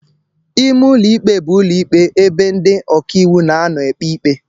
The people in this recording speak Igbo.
Ime ụlọ ikpe bụ ụlọ ikpe bụ ebe ndị ọkàiwụ na-anọ na-ekpe ikpe